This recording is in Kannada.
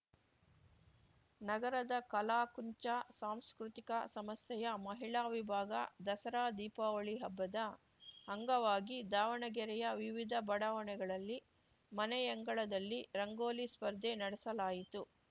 ನಗರದ ಕಲಾಕುಂಚ ಸಾಂಸ್ಕೃತಿಕ ಸಮಸ್ಯೆಯ ಮಹಿಳಾ ವಿಭಾಗ ದಸರಾದೀಪಾವಳಿ ಹಬ್ಬದ ಅಂಗವಾಗಿ ದಾವಣಗೆರೆಯ ವಿವಿಧ ಬಡಾವಣೆಗಳಲ್ಲಿ ಮನೆಯಂಗಳದಲ್ಲಿ ರಂಗೋಲಿ ಸ್ಪರ್ಧೆ ನಡೆಸಲಾಯಿತು